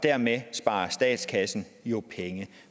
dermed sparer statskassen jo penge